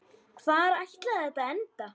Hvar ætlaði þetta að enda?